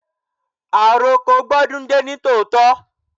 Àroko gbó dún dé ní tòótọ́.